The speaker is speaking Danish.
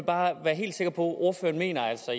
bare være helt sikker på ordføreren mener altså